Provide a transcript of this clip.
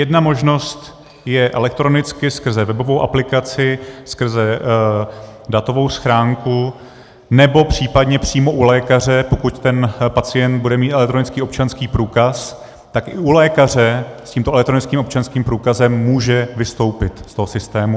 Jedna možnost je elektronicky skrze webovou aplikaci, skrze datovou schránku, nebo případně přímo u lékaře, pokud ten pacient bude mít elektronický občanský průkaz, tak i u lékaře s tímto elektronickým občanským průkazem může vystoupit z toho systému.